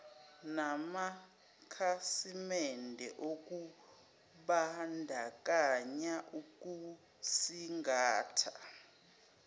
namakhasimende okubandakanya ukusingatha